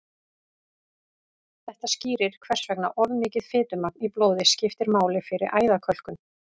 þetta skýrir hvers vegna of mikið fitumagn í blóði skiptir máli fyrir æðakölkun